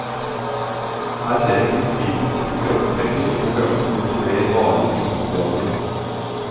Her ser en krittpipens siste krampetrekning i konkurransen mot de mer varige pipematerialene.